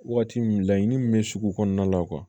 Waati min laɲini min bɛ sugu kɔnɔna la